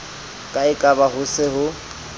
ka ekaba ho se ho